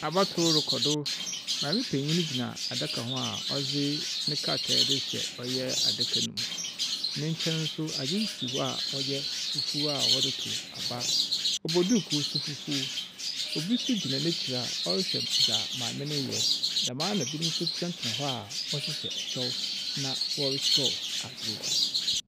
Abatow rokɔ do. Maame penyin gyina adaka ho a ɔdze ne krataa dze rehyɛ ɔyɛ adaka no mu. Ne nkyɛn nso adze si hɔ a ɔyɛ fufuwa wɔdze tow aba. Ɔbɔ duukuu ndo fuguw. Obi nso gyina n'ekyir a ɔrehwɛ dza mame no reyɛ. Dɛm ara na binom nso tsenatsena hɔ a wɔhyehyɛ ɛkyɛw na wɔrekyerɛw adze.